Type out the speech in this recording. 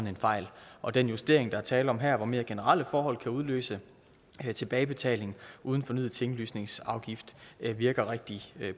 en fejl og den justering der er tale om her hvor mere generelle forhold kan udløse tilbagebetaling uden fornyet tinglysningsafgift virker rigtig